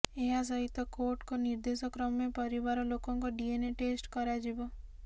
ଏହା ସହିତ କୋର୍ଟଙ୍କ ନିର୍ଦ୍ଦେଶ କ୍ରମେ ପରିବାର ଲୋକଙ୍କ ଡିଏନଏ ଟେଷ୍ଟ କରାଯିବ